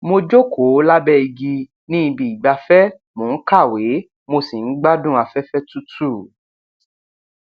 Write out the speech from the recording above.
mo jókòó lábẹ igi ní ibi ìgbafẹ mò ń kàwé mo sì ń gbádùn afẹfẹ tútù